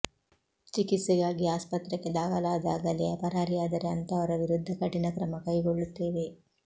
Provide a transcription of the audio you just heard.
ಚಿಕಿತ್ಸೆಗಾಗಿ ಆಸ್ಪತ್ರೆಗೆ ದಾಖಲಾದಾಗಲೇ ಪರಾರಿಯಾದರೆ ಅಂಥವರ ವಿರುದ್ಧ ಕಠಿಣ ಕ್ರಮ ಕೈಗೊಳ್ಳುತ್ತೇವೆ